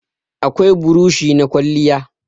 Akwai burushi na kwalliya.